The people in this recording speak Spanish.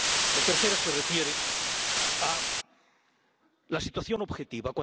La tercera se refiere a la situación objetiva.